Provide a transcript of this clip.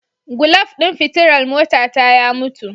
Gulaf din fitilar motata ya mutu.